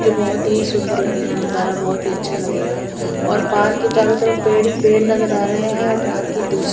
जो बहुत ही सुन्दर लगेगा नज़ारा बहुत ही अच्छा लगेगा और पार्क के चारो तरफ पेड़ ही पेड़ नज़र आ रहे हैं और पार्क की दूस --